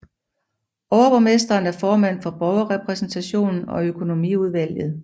Overborgmesteren er formand for borgerrepræsentationen og økonomiudvalget